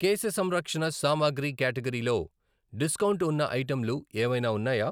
కేశ సంరక్షణ సామాగ్రి క్యాటగరీలో డిస్కౌంట్ ఉన్న ఐటెంలు ఏవైనా ఉన్నాయా?